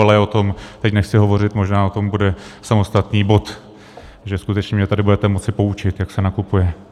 Ale o tom teď nechci hovořit, možná o tom bude samostatný bod, takže skutečně mě tady budete moci poučit, jak se nakupuje.